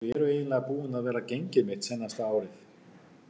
Þau eru eiginlega búin að vera gengið mitt seinasta árið.